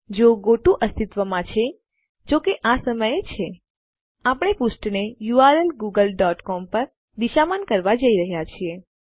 જો ગોટો અસ્તિત્વમાં છે જો કે આ સમયે છે આપણે પુષ્ઠને યુઆરએલ ગૂગલ ડોટ સીઓએમ પર દિશામાન કરાવવા જઈ રહ્યા છીએ